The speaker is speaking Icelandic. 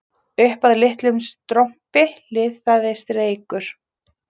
Upp af litlum strompi liðaðist reykur